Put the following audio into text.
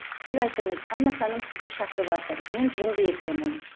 сіз айтыңыз анна ханым сізді шақырыватыр мен жынды екенмін